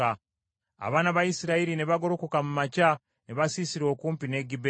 Abaana ba Isirayiri ne bagolokoka mu makya ne basiisira okumpi ne Gibea.